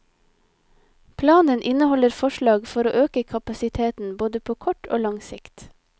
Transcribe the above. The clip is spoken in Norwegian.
Planen inneholder forslag for å øke kapasiteten både på kort og lang sikt.